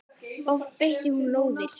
Oft beitti hún lóðir.